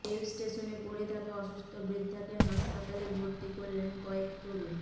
রেলস্টেশনে পড়ে থাকা অসুস্থ বৃদ্ধাকে হাসপাতালে ভর্তি করলেন কয়েক তরুণ